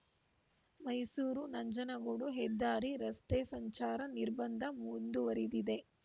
ಮೈಸೂರು ನಂಜನಗೂಡು ಹೆದ್ದಾರಿ ರಸ್ತೆ ಸಂಚಾರ ನಿರ್ಬಂಧ ಮುಂದುವರಿದಿದೆ